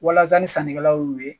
Walasa ni sannikɛlaw y'u ye